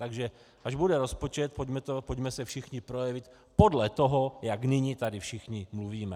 Takže až bude rozpočet, pojďme se všichni projevit podle toho, jak nyní tady všichni mluvíme.